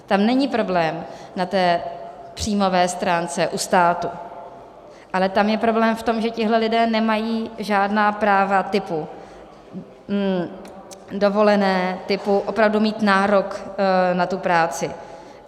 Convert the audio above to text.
Tam není problém na té příjmové stránce u státu, ale tam je problém v tom, že tihle lidé nemají žádná práva typu dovolené, typu opravdu mít nárok na tu práci.